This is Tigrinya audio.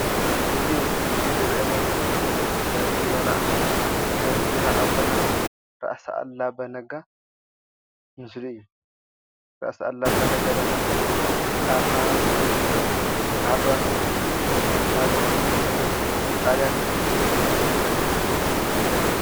እዚ ኣብዚ ምስሊ እዚ ዝረአየና ዘሎ ናይ ጅግናና ናይ ጅግና ኣቦና ራእሲ ኣሉላ ኣባ ነጋ ምስሊ እዩ። ራእሲ ኣሉላ ኣባ ነጋ ደማ ኣብ ከባብታት ዓድዋን ካልኦትን ቦታታት ንጣልያን ዝመከቱ ጅግና እዮም።